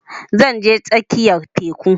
Zan je tsakiyar teku